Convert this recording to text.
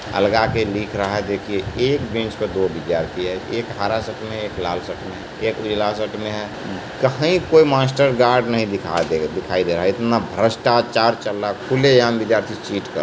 अलगा के लिख रहा है देखिए एक बेंच पर दो विद्यार्थी है एक हरा शर्ट में है एक लाल शर्ट में हैं एक उजला शर्ट में है कहीं कोई मास्टर गार्ड नहीं दिखाई दे दिखाई दे रहा है इतना भष्ट्राचार चल रहा है खुले आम विद्यार्थी चीट कर --